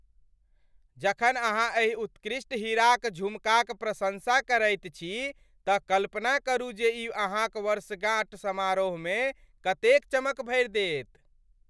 जखन अहाँ एहि उत्कृष्ट हीराक झुमकाक प्रशंसा करैत छी तऽ कल्पना करू जे ई अहाँक वर्षगाँठ समारोहमे कतेक चमक भरि देत।